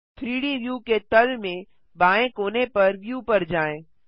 3डी व्यू के तल में बाएँ कोने पर व्यू पर जाएँ